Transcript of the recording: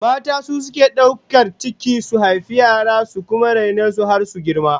Mata su suke daukar ciki su haifi yara, su kuma raine su har su girma